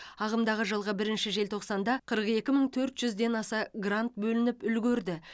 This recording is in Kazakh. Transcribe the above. ағымдағы жылғы бірінші желтоқсанда қырық екі мың төрт жүзден аса грант бөлініп үлгерді